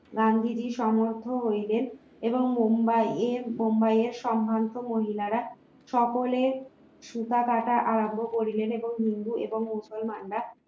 গান্ধীজীর সমর্থ হইলেন এবং মুম্বাইয়ের মুম্বাইয়ের সম্ভ্রান্ত মহিলারা সকলে সুতা কাটা আরম্ভ করলেন এবং হিন্দু এবং মুসলমানরা